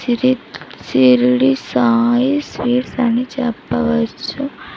ఇది షిరిడి సాయి స్వీట్స్ అని చెప్పవచ్చు.